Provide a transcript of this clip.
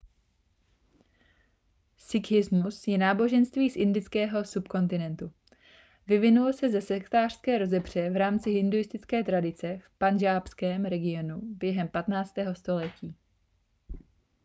sikhismus je náboženství z indického subkontinentu vyvinul se ze sektářské rozepře v rámci hinduistické tradice v pandžábském regionu během 15. století